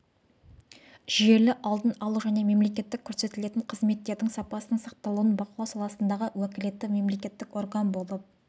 жүйелі алдын алу және мемлекеттік көрсетілетін қызметтердің сапасының сақталуын бақылау саласындағы уәкілетті мемлекеттік орган болып